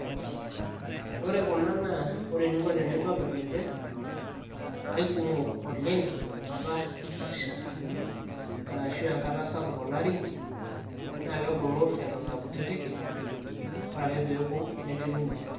ore kuna naa oreeninko tenintobirr ninche aikumok oleng enkata nasha arashu enkata sapuk olari naa kebulu eton aa kutitik ore ake peeku netiu inji.